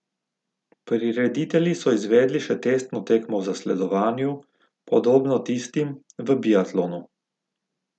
Prireditelji so izvedli še testno tekmo v zasledovanju, podobno tistim v biatlonu.